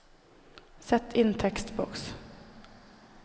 Sett inn tekstboks